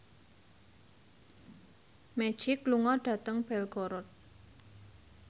Magic lunga dhateng Belgorod